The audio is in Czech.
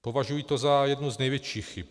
Považuji to za jednu z největších chyb.